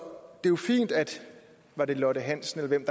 jo fint at lotte hansen eller hvem